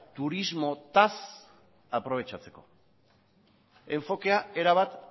turismotaz aprobetxatzeko enfokea erabat